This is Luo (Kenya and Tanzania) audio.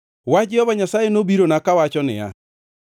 Wach Jehova Nyasaye nobirona, kawacho niya,